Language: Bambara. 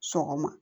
Sɔgɔma